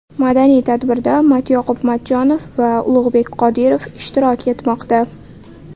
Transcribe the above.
Madaniy tadbirda Matyoqub Matchonov va Ulug‘bek Qodirov ishtirok etmoqda.